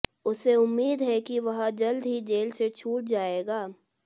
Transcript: उसे उम्मीद है कि वह जल्द ही जेल से छूट जाएगा